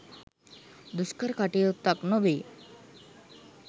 දුෂ්කර කටයුත්තක් නොවේ.